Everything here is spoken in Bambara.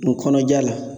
N kɔnɔja la